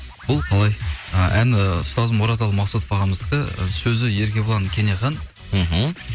бұл қалай ы әні ұстазым оразалы мақсұтов ағамыздікі ы сөзі еркебұлан кенехан мхм